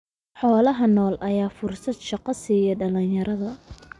Xoolaha nool ayaa fursad shaqo siiya dhalinyarada.